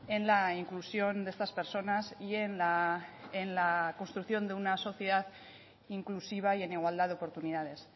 en la inclusión de estas personas y en la construcción de una sociedad inclusiva y en igualdad de oportunidades